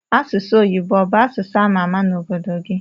Asụsụ oyibo obu asụsụ amama na obodo gi?